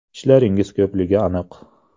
Ishlaringiz ko‘pligi aniq.